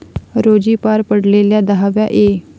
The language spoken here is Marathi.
रोजी पार पडलेल्या दहाव्या ए.